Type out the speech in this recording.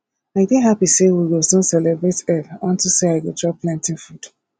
i dey happy say we go soon celebrate eid unto say i go chop plenty food